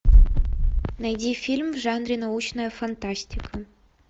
найди фильм в жанре научная фантастика